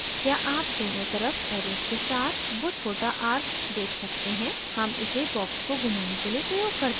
क्या आप दोनों तरफ arrows के साथ वो छोटा arc देख सकते हैं हम इसे box को घुमाने के लिए प्रयोग करते हैं